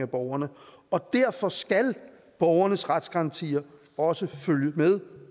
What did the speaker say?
borgerne og derfor skal borgernes retsgarantier også følge med